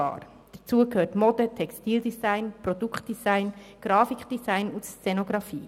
Dazu gehören Mode- und Textildesign, Produktdesign, Grafikdesign und Szenografie.